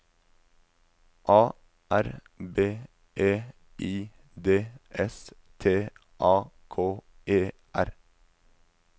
A R B E I D S T A K E R